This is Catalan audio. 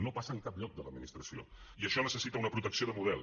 no passa en cap lloc de l’administració i això necessita una protecció de model